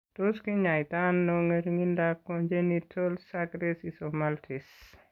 Tos kinyaita ano ng'ering'indoab Congenital sucrase isomaltase?